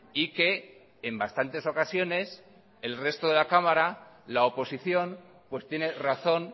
y que en bastantes ocasiones el resto de la cámara la oposición pues tiene razón